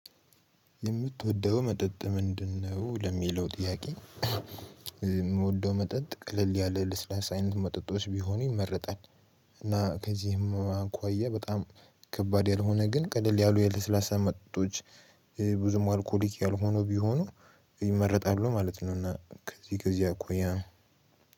የምትወደው መጠጥ ምንድነው ለሚለው ጥያቄ? የምወደው መጠጥ ቀለል ያለ ለስላሳ አይነት መጠጦች ቢሆኑ ይመርጣል። እና ከዚህም አንኳያ በጣም ከባድ ያልሆነ ግን ቀደል ያሉ የለስላሳ መጠጦች። ብዙም አልኮሊክ ያልሆኑ ቢሆኑ ይመረጣሉ ማለት ነው። ነውና ከዚህ ጊዜ አቆየ